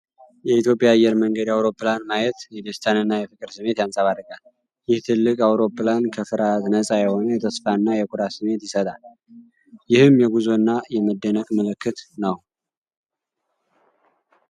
የኢትዮጵያ አየር መንገድ አውሮፕላን ማየት የደስታንና የፍቅር ስሜት ያንጸባርቃል። ይህ ትልቅ አውሮፕላን ከፍርሃት ነጻ የሆነ የተስፋና የኩራት ስሜት ይሰጣል፤ ይህም የጉዞና የመደነቅ ምልክት ነው።